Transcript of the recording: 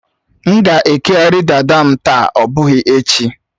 M ga-ekeghari dada m taa, ọ bụghị echi